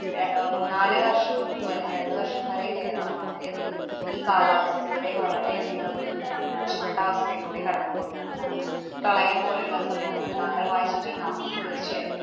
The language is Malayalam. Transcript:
ഏർ അഹ് മൂന്നാല് വര്‍ഷം മുമ്പോ, അല്ലെങ്കി രണ്ടു വര്‍ഷം വരെ കേരളം വളരെയധികം ഈ കാലാവസ്ഥയുടെ വളരെയധികം ഉം മോശപ്പെട്ട അവസ്ഥയിലൂടെ കടന്നു പോയതാണ്. കാരണം, പ്രളയം പോലെയുള്ള സംഭവങ്ങള്‍ താങ്കള്‍ വായിച്ചിട്ടുണ്ടാവും തീര്‍ച്ചയായിട്ടും.